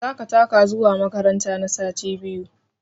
Za ka taka zuwa makaranta na sati biyu!